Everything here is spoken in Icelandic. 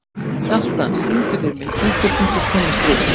Hjalta, syngdu fyrir mig „Punktur, punktur, komma, strik“.